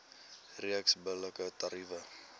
reeks billike tariewe